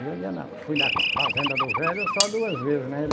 Eu ia na, fui na fazenda do velho só duas vezes, né?